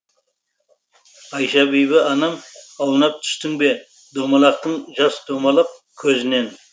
айша бибі анам аунап түстің бе домалақтың жас домалап көзінен